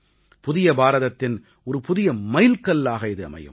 புதிய பாரதத்தின் ஒரு புதிய மைல்கல்லாக இது அமையும்